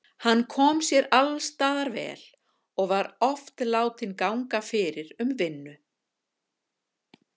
Hann kom sér alls staðar vel og var oft látinn ganga fyrir um vinnu.